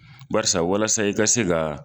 Barisa walasa i ka se ka